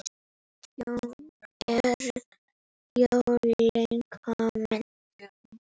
Jón: Eru jólin komin?